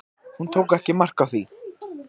Hún tók ekki mark á því.